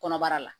Kɔnɔbara la